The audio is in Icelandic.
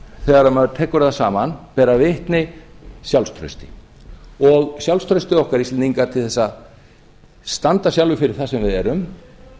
þegar maður tekur það saman bera vitni um sjálfstraust og sjálfstraustið okkar íslendinga til þess að standa sjálfir fyrir því sem við erum